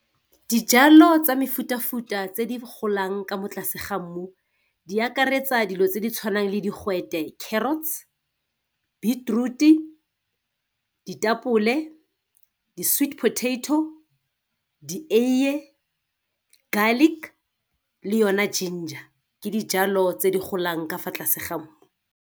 Dijalo tsa mefutafuta tse di golang ka mo tlase ga mmu di akaretsa dilo tse di tshwanang le digwete, carrots, beetroot-i, ditapole, di-sweetpotato, dieiye, garlic le yone ginger ke dijalo tse di golang ka fa tlase ga mmu.